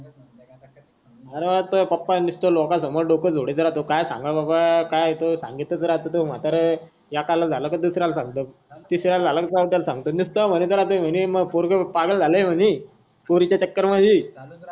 होई रे बा तोये पप्पा नुसत लोकांनसोमोर नुसत डोक झोडीत राहतो काय सांगाव बाप्पा काय तो सांगितच राहतो तोय म्हातारा एकला झाल की दुसऱ्याला सांगतो. तिसऱ्याला झाल की चौथ्याला निसत म्हणीत राहतो म्हणी मय पोरग पागल झाल म्हणी पोरीच्या चकर मधी